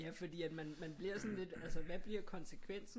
Ja fordi at man bliver sådan lidt altså hvad bliver konsekvensen